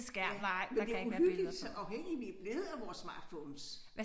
Ja men det uhyggeligt så afhængige vi blevet af vores smartphones